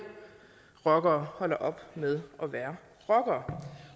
rockere holder op med at være rockere